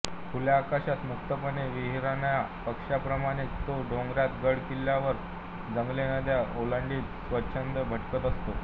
खुल्या आकाशात मुक्तपणे विहरणाया पक्ष्याप्रमाणेच तो डोंगरात गड किल्ल्यांवर जंगले नद्या ओलांडीत स्वच्छंद भटकत असतो